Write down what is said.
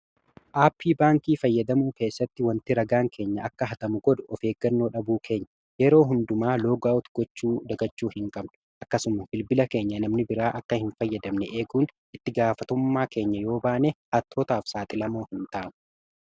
Aappii baankii fayyadamuu keessatti waanti ragaan keenya akka hatamu godhu ofeeggannoo dhabuu keenya. Yeroo hundumaa loogaawot gochuu dagachuu hinqabnu. Akkasuma bilbila keenya namni biraa akka hinfayyadamne eeguun itti gaafatamummaa keenya yoobaane hattootaaf saaxilamoo hintaanu.